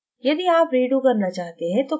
यदि आप redo करना चाहते हैं तो ctrly दबायें